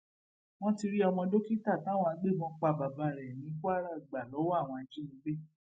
wọn ti rí ọmọ dókítà táwọn agbébọn pa bàbá rẹ ní kwaragba lowó àwọn ajínigbé